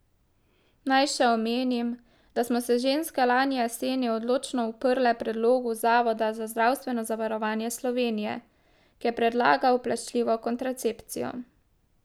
Naj še omenim, da smo se ženske lani jeseni odločno uprle predlogu Zavoda za zdravstveno zavarovanje Slovenije, ki je predlagal plačljivo kontracepcijo.